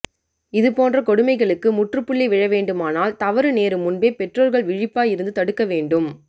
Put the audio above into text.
இதுபோன்ற கொடுமை களுக்கு முற்றுப்புள்ளி விழவேண்டு மானால் தவறு நேரும் முன்பே பெற்றோர்கள் விழிப்பாய் இருந்து தடுக்க வேண்டும்